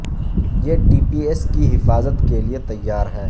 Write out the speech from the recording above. یہ T P S کی حفاظت کے لئے تیار ہے